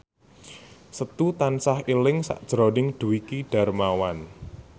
Setu tansah eling sakjroning Dwiki Darmawan